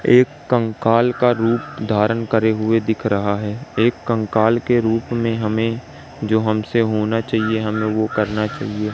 एक कंकाल का रूप धारण करे हुए दिख रहा है एक कंकाल के रूप में हमें जो हमसे होना चाहिए हमें वो करना चाहिए।